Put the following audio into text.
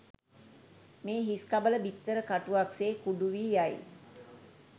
මේ හිස්කබල, බිත්තර කටුවක් සේ කුඩු වී යයි.